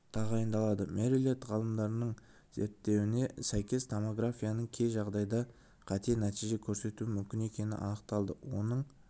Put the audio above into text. тағайындалады мэриленд ғалымдарының зерттеуіне сәйкес томографияның кей жағдайда қате нәтиже көрсетуі мүмкін екені анықталды оның